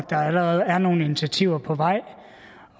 der allerede er nogle initiativer på vej